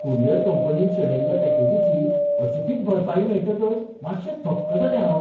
Courier कंपनीन शेणयल्ल्या पॅकेजीची अचकीत भरपाई मेळटकच मातशें थक्क जालें हांव.